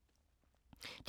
DR1